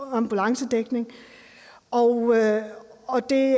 ambulancedækningen og og det